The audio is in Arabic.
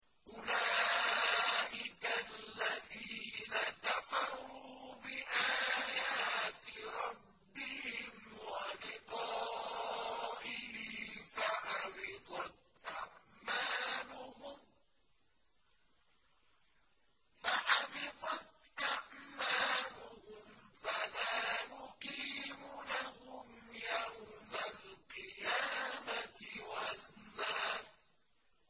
أُولَٰئِكَ الَّذِينَ كَفَرُوا بِآيَاتِ رَبِّهِمْ وَلِقَائِهِ فَحَبِطَتْ أَعْمَالُهُمْ فَلَا نُقِيمُ لَهُمْ يَوْمَ الْقِيَامَةِ وَزْنًا